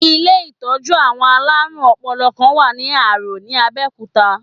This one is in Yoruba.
Ilé-ìtọ́jú àwọn aláàrùn ọpọlọ̀ kan wà ní Árò ní Abẹ́òkútà.